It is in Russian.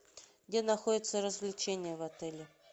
где находятся развлечения в отеле